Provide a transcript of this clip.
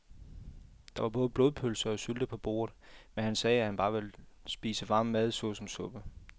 Der var både blodpølse og sylte på bordet, men han sagde, at han bare ville spise varm mad såsom suppe.